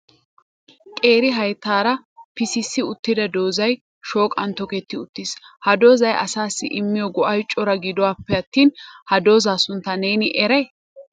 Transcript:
Qeeri hayttaara pisissi uttida doozay shooqan tokketti uttiis. Ha doozay asassi immiyo go''ay cora gidoppe attin ha dooza sunttaa neeni eray?